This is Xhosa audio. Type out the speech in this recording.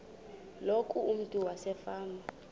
loku umntu wasefama